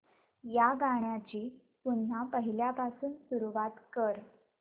या गाण्या ची पुन्हा पहिल्यापासून सुरुवात कर